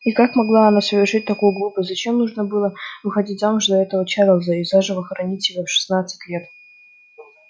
и как могла она совершить такую глупость зачем нужно было выходить замуж за этого чарлза и заживо хоронить себя в шестнадцать лет